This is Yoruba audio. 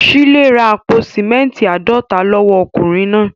Shílé ra àpò símẹ́ńtì àádọ́ta lọ́wọ́ ọkùnrin náà.